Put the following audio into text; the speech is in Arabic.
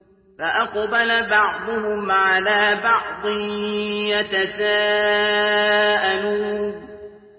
فَأَقْبَلَ بَعْضُهُمْ عَلَىٰ بَعْضٍ يَتَسَاءَلُونَ